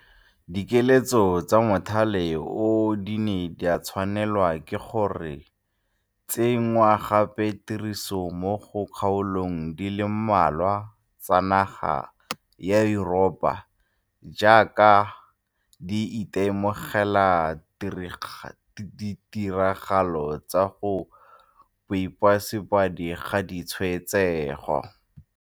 Dikiletso tsa mothale oo di ne tsa tshwanelwa ke go tse nngwa gape tirisong mo di kgaolong di le mmalwa tsa naga ya Yuropa jaaka di ite mogela ditiragalo tsa go ipoasebedi ga ditshwaetsego.